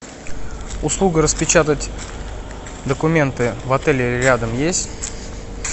услуга распечатать документы в отеле рядом есть